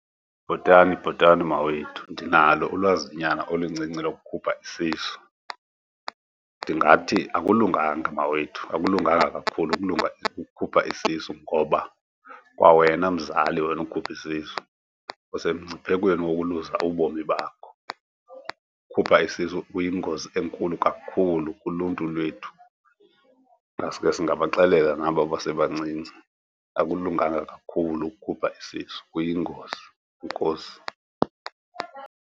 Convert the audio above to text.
Bhotani, bhotani, mawethu. Ndinalo ulwazinyana oluncinci lokukhupha isisu. Ndingathi akulunganga, mawethu, akulunganga kakhulu ukulunga ukhupha isisu ngoba kwawena mzali, wena ukhupha isisu, usemngciphekweni wokuluza ubomi bakho. Ukhupha isisu kuyingozi enkulu kakhulu kuluntu lwethu. Ingaske siingabaxelela nabo basebancinci, akulunganga kakhulu ukukhupha isisu, kuyingozi. Enkosi.